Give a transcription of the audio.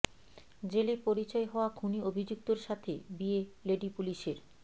জেলে পরিচয় হওয়া খুনি অভিযুক্তর সাথে বিয়ে লেডি পুলিশের